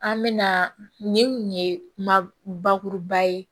An mɛna nin ye ma bakuruba ye